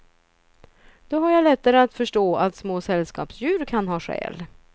Då har jag lättare att förstå att små sällskapsdjur kan ha själ.